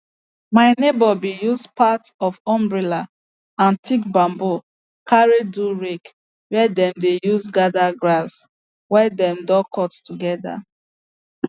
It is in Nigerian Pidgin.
my neigbour been use part of umbrella and thick bamboo carry do rake where dem dey use gather grass wey dem don cut together